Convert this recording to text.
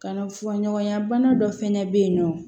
Kana fɔɲɔgɔnya bana dɔ fɛnɛ bɛ yen nɔ